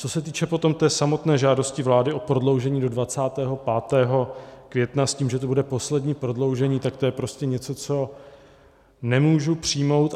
Co se týče potom té samotné žádosti vlády o prodloužení do 25. května s tím, že to bude poslední prodloužení, tak to je prostě něco, co nemůžu přijmout.